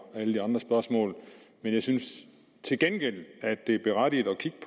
alle de andre spørgsmål men jeg synes til gengæld at det er berettiget at kigge